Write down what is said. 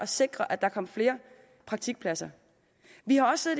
sikre at der kom flere praktikpladser vi har også